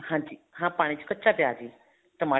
ਹਾਂਜੀ ਹਾਂ ਪਾਣੀ ਚ ਕੱਚਾ ਪਿਆਜ਼ ਹੀ ਟਮਾਟਰ